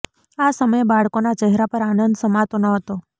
આ સમયે બાળકોના ચહેરા પર આનંદ સમાતો ન હતો